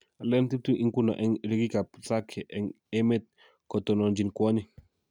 Aleen 20 ingunon eng' ryegikap Zake eng' emet kotononchin kwonyik.